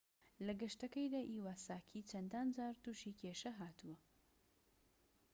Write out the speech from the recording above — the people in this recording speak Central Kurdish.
لە گەشتەکەیدا ئیواساکی چەندان جار توشی کێشە هاتووە